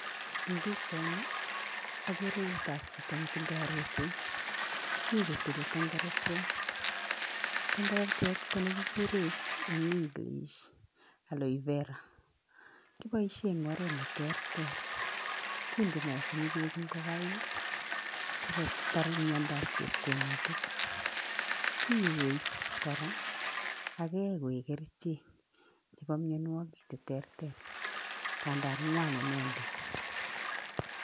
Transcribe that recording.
En bichaini akeree nout ab Chito netindoi rotwet mi kotile tengeretwet, tengeretwet konegigurei en English aloe Vera kebaishen en oret neterter, kindechen bek ingogaiksikotar miando ab chepkonutik, kikoi age koik kerchek chebo mianwakik cheterter tandan ngwan inendet